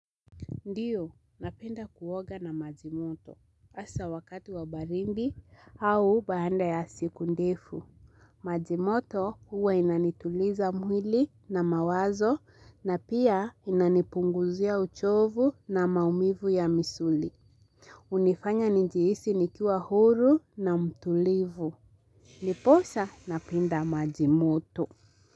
Ndiyo, napenda kuoga na maji moto, hasa wakati wa baridi au baada ya siku ndefu. Maji moto huwa inanituliza mwili na mawazo na pia inanipunguzia uchovu na maumivu ya misuli. Hunifanya nijihisi nikiwa huru na mtulivu. Ndiposa, napenda maji moto.